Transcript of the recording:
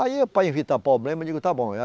Aí, para evitar problema, eu digo, está bom.